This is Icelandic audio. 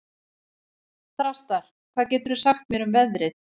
Þrastar, hvað geturðu sagt mér um veðrið?